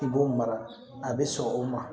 I b'o mara a bɛ sɔn o ma